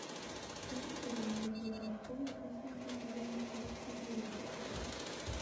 покажи сериал закрытая школа последний сезон часть четыре